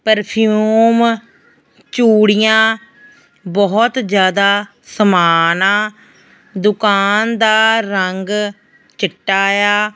Perfume ਚੂੜੀਆਂ ਬਹੁਤ ਜਿਆਦਾ ਸਮਾਨ ਆ ਦੁਕਾਨ ਦਾ ਰੰਗ ਚਿੱਟਾ ਏ ਆ।